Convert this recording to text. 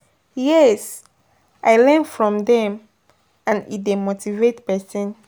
Yes, i learn from dem and e dey motivate pesin.